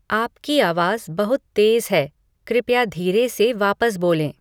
आपकी आवाज़ बहुत तेज़ है कृपया धीरे से वापस बोलें